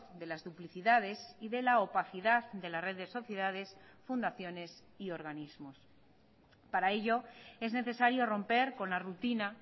de las duplicidades y de la opacidad de la red de sociedades fundaciones y organismos para ello es necesario romper con la rutina